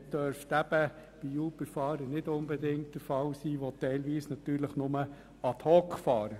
Auch das dürfte bei Uber-Fahrern nicht unbedingt der Fall sein, die ja teilweise nur ad hoc fahren.